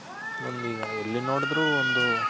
ಒಂದ್ ಇವಾಗ ಎಲ್ಲಿ ನೋಡಿದ್ರು ಒಂದು